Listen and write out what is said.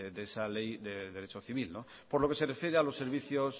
de esa ley de derecho civil por lo que se refiere a los servicios